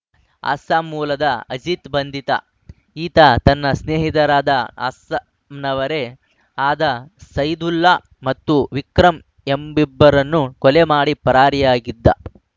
ಅಸ್ಸಾಂ ಮೂಲದ ಅಜಿತ್‌ ಬಂಧಿತ ಈತ ತನ್ನ ಸ್ನೇಹಿತರಾದ ಅಸ್ಸಾಂ ನವರೇ ಆದ ಸೈದುಲ್ಲಾ ಮತ್ತು ವಿಕ್ರಂ ಎಂಬಿಬ್ಬರನ್ನು ಕೊಲೆ ಮಾಡಿ ಪರಾರಿಯಾಗಿದ್ದ